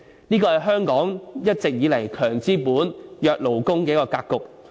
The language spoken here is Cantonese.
這是香港一直以來"強資本、弱勞工"的格局。